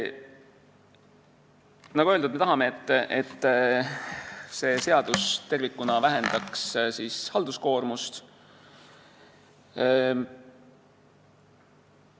Nagu öeldud, me tahame, et see seadus tervikuna vähendaks halduskoormust.